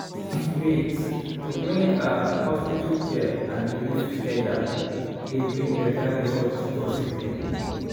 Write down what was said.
wait- to bring ah hospital care and belief togeda dey bring beta result for sick poeple.